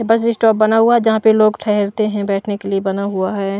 बस स्टॉप बना हुआ है जहां पे लोग ठहरते हैं बैठने के लिए बना हुआ है।